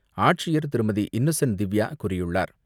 ஆட்சியர் திருமதி இன்னசென்ட் திவ்யா கூறியுள்ளார்.